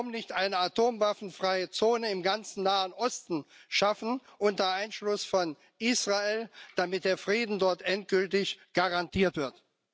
Warum nicht eine atomwaffenfreie Zone im ganzen Nahen Osten schaffen, unter Einschluss von Israel, damit der Frieden dort endgültig garantiert wird?